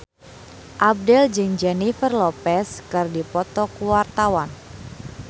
Abdel jeung Jennifer Lopez keur dipoto ku wartawan